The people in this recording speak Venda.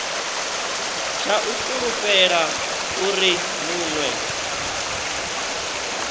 tsha u fulufhela uri munwe